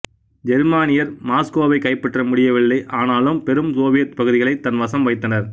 ஜெர்மானியர் மாஸ்கோவை கைப்பற்ற முடியவில்லை ஆனாலும் பெரும் சோவியத் பகுதிகளை தன் வசம் வைத்தனர்